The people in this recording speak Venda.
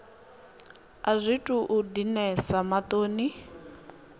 a zwi tou dinesa maṱoni